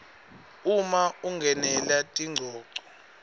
uma ungenela tingcoco